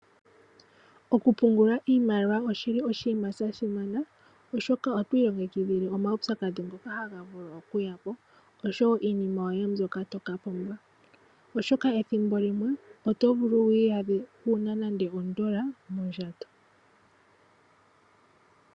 Okupungula iimaliwa oshili oshima shasimana oshoka otwi longekidhile omawupyakadhi ngoka ha gavulu oku yapo osho iinima yoye mbyoka tokapumbwa, oshoka ethimbo limwe oto vulu wiyadhe wana nande ondola mondjato.